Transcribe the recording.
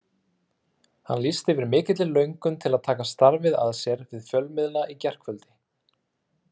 Hann lýsti yfir mikilli löngun til að taka starfið að sér við fjölmiðla í gærkvöldi.